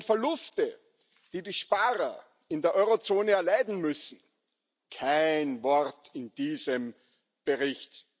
Die enormen Verluste, die die Sparer in der Eurozone erleiden müssen kein Wort in diesem Bericht.